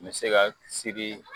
N be se ka siri